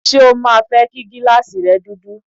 Ṣé o máa fẹ́ kí gíláàsì rẹ̀ dúdú?